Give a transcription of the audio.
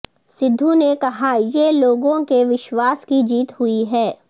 سدھو نے کہا یہ لوگوں کے وشوواس کی جیت ہوئی ہے